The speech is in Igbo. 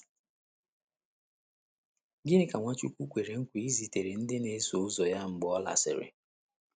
Gịnị ka Nwachukwu kwere nkwa izitere ndị na - eso ụzọ ya mgbe ọ lasịrị?